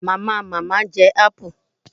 Mamamama je gbogbo apu